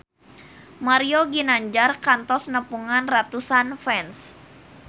Mario Ginanjar kantos nepungan ratusan fans